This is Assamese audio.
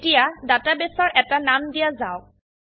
এতিয়া ডেটাবেস এৰ এটা নাম দিয়া যাওক